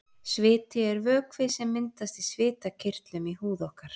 Sviti er vökvi sem myndast í svitakirtlum í húð okkar.